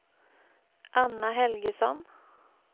Anna Helgesson